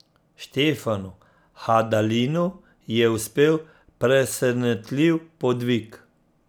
Štefanu Hadalinu je uspel presenetljiv podvig.